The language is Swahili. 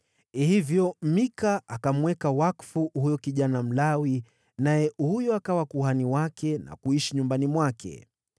Hivyo Mika akamweka wakfu huyo kijana Mlawi, naye huyo akawa kuhani wake na kuishi nyumbani mwake.